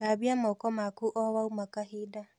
Thambia moko maku o waũma kahinda